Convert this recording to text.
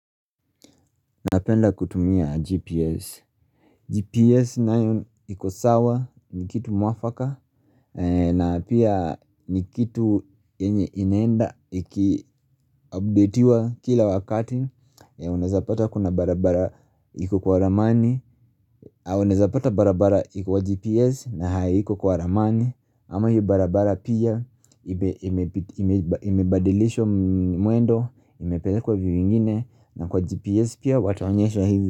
Napenda kutumia GPS. GPS nayo iko sawa ni kitu mwafaka na pia ni kitu yenye inaenda iki updetiwa kila wakati Unawezapata kuna barabara iko kwa ramani Unawezapata barabara iko kwa GPS, na haiko kwa ramani ama hiyo barabara pia imebadilisha mwendo. Imepelekwa view ingine. Na kwa GPS pia wataonyesha hizi.